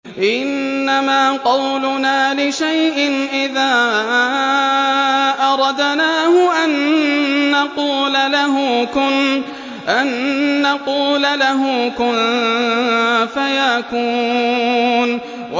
إِنَّمَا قَوْلُنَا لِشَيْءٍ إِذَا أَرَدْنَاهُ أَن نَّقُولَ لَهُ كُن فَيَكُونُ